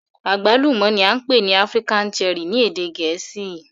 Agbalumo ni a npe ni African Cherry ni ede Gẹẹsi